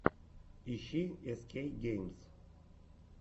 ищи эс кей геймс